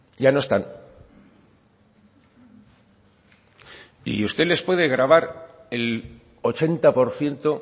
ya no están y usted les puede grabar el ochenta por ciento